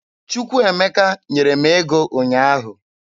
Chukwuemeka nyere m ego ụnyaahụ.